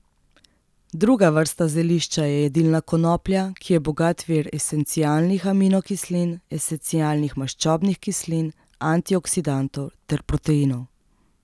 Druga vrsta zelišča je jedilna konoplja, ki je bogat vir esencialnih aminokislin, esencialnih maščobnih kislin, antioksidantov ter proteinov.